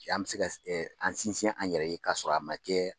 An bɛ se an sinsin an yɛrɛ ye k'a sɔrɔ a ma kɛ